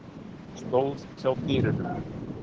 Stóð hjá dyrunum.